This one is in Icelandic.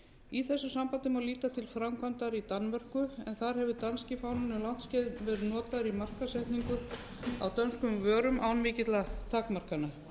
í þessu sambandi má líta til framkvæmdar í danmörku en þar hefur danski fáninn um langt skeið verið notaður í markaðssetningu á dönskum vörum án mikilla takmarkana